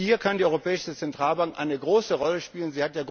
brauchen. Hier kann die Europäische Zentralbank eine große Rolle